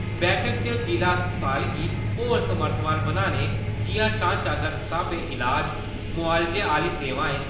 बैठक इच जिला अस्पताल गी होर समर्थवान बनाने जिया ढ़ांचागत स्हाबे इलाज मुआलजे आह्‌ली सेवाएं।